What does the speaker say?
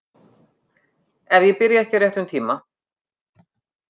Ef ég byrja ekki á réttum tíma.